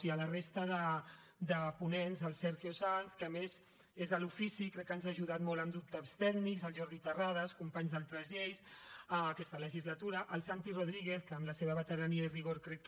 i a la resta de ponents el sergio sanz que a més és de l’ofici i crec que ens ha ajudat molt en dubtes tècnics el jordi terrades companys d’altres lleis aquesta legislatura el santi rodríguez que amb la seva veterania i rigor crec que